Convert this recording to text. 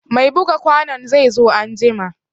Mai buga kwanon zai zo an jima